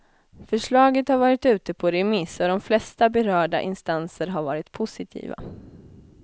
Förslaget har varit ute på remiss och de flesta berörda instanser har varit positiva.